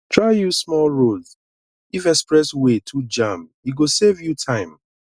try use small roads if express way too jam e go save you time